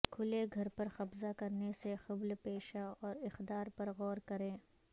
کھلے گھر پر قبضہ کرنے سے قبل پیشہ اور اقدار پر غور کریں